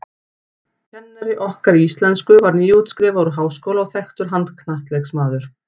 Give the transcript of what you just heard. Kennari okkar í íslensku var nýútskrifaður úr háskóla og þekktur handknattleiksmaður.